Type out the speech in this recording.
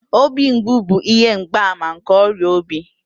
Obi mgbu bụ ihe mgbaàmà nke ọrịa obi